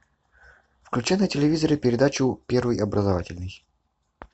включи на телевизоре передачу первый образовательный